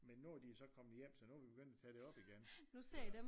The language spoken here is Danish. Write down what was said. Men nu de så kommet hjem så nu vi begyndt at tage det op igen